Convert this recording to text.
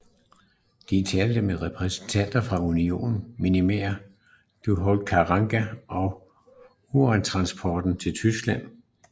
De talte med repræsentanter for Union Minière du Haut Katanga om urantransporter til Tyskland